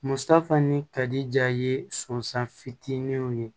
Musafan ni kari ja ye sɔnsan fitiininw ye